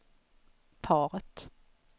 paret